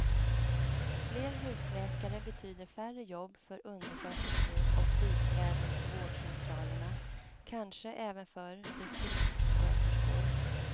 Fler husläkare betyder färre jobb för undersköterskor och biträden på vårdcentralerna, kanske även för distriktssköterskor.